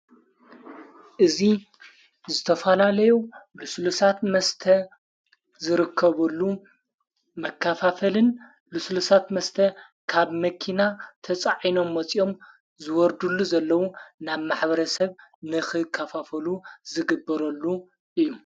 እዙ ዝተፋላለይ ልሱልሳት መስተ ዝርከበሉ መካፋፈልን ልሱልሳት መስተ ካብ መኪና ተጻዒኖም ሞጺኦም ዝወርዱሉ ዘለዉ ናብ ማኅበረ ሰብ ንኽ ካፋፈሉ ዝግበረሉ እዩ።